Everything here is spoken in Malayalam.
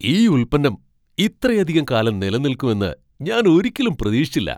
ഈ ഉൽപ്പന്നം ഇത്രയധികം കാലം നിലനിൽക്കും എന്ന് ഞാൻ ഒരിക്കലും പ്രതീക്ഷിച്ചില്ല.